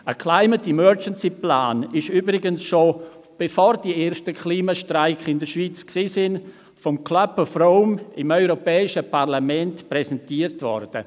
Ein «Climate Emergency Plan» wurde übrigens schon vom «Club of Rome» dem europäischen Parlament präsentiert, bevor die ersten Klimastreiks in der Schweiz stattfanden.